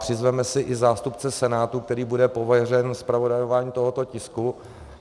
Přizveme si i zástupce Senátu, který bude pověřen zpravodajováním tohoto tisku.